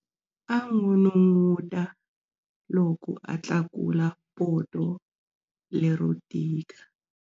A n'unun'uta loko a tlakula poto lero tika.